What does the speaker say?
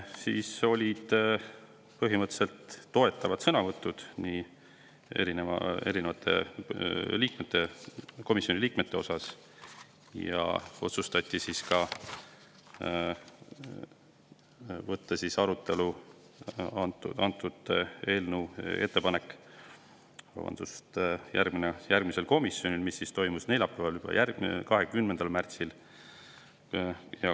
Siis olid põhimõtteliselt toetavad sõnavõtud komisjoni liikmetelt ja otsustati võtta see ettepanek arutelu alla ka järgmisel komisjoni istungil, mis toimus neljapäeval, 20. märtsil.